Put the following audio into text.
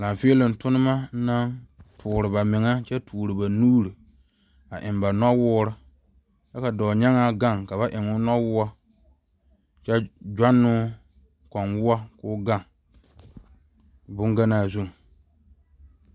Laafiloŋ turoma kyɛ tuuro ba nuure eŋ ba noɔ woɔre ka dɔɔ nyaa gaŋ eŋ noɔ woɔ ,kowoɔ koo gaŋ bonganaa zu.